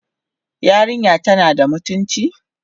Yarinyar tana da mutunci?